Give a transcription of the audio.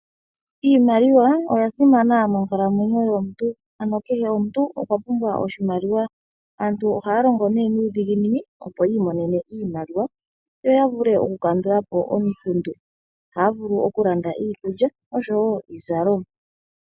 Iimaliwa oya simana monkalamwenyo yomuntu. Ano kehe omuntu okwa pumbwa oshimaliwa. Aantu ohaya longo nee nuudhiginini, opo yi imonene iimaliwa yo ya vule okukandula po ominkundu. Ohaya vulu okulanda iikulya osho wo iizalomwa.